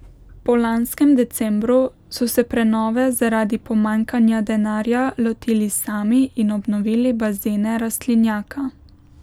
Po lanskem decembru so se prenove zaradi pomanjkanja denarja lotili sami in obnovili bazene rastlinjaka.